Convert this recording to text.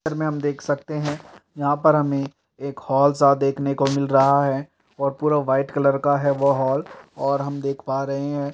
इस पिक्चर में हम देख सकते हैं यहाॅं पर हमें एक हॉल सा देखने को मिल रहा है और पूरा वाइट कलर का है वो हॉल और हम देख पा रहे हैं --